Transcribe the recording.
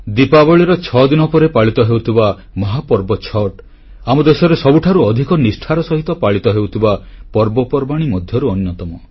ଦୀପାବଳୀର ଛଦିନ ପରେ ପାଳିତ ହେଉଥିବା ମହାପର୍ବ ଛଠ୍ ଆମ ଦେଶରେ ସବୁଠାରୁ ଅଧିକ ନିଷ୍ଠାର ସହିତ ପାଳିତ ହେଉଥିବା ପର୍ବ ପର୍ବାଣୀ ମଧ୍ୟରୁ ଅନ୍ୟତମ